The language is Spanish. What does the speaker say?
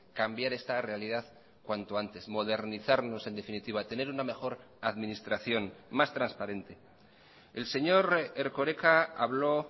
cambiar esta realidad cuanto antes modernizarnos en definitiva tener una mejor administración más transparente el señor erkoreka habló